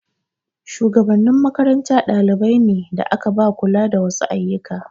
Shugabannin makaranta dalibai ne da aka ba kula da wasu ayyuka.